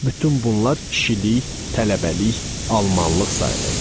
Bütün bunlar kişilik, tələbəlik, almanlıq sayılırdı.